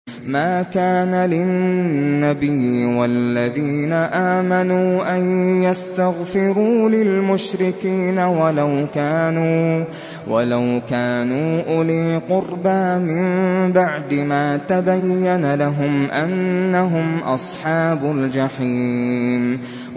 مَا كَانَ لِلنَّبِيِّ وَالَّذِينَ آمَنُوا أَن يَسْتَغْفِرُوا لِلْمُشْرِكِينَ وَلَوْ كَانُوا أُولِي قُرْبَىٰ مِن بَعْدِ مَا تَبَيَّنَ لَهُمْ أَنَّهُمْ أَصْحَابُ الْجَحِيمِ